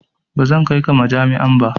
Ba zan kai ka majami'a ba.